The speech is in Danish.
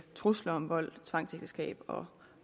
trusler om vold tvangsægteskab og